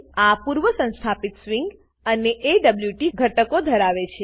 આ પૂર્વ સંસ્થાપિત સ્વીંગ અને એવોટ ધરાવે છે